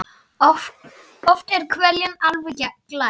Oft er hveljan alveg glær.